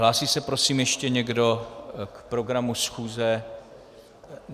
Hlásí se prosím ještě někdo k programu schůze?